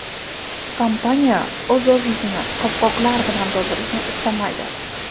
Kompaniya o‘z ofisini qopqoqlar bilan to‘ldirishlarini istamaydi.